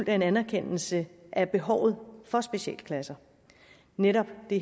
af en anerkendelse af behovet for specialklasser netop det